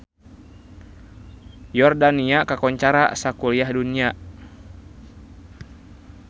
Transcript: Yordania kakoncara sakuliah dunya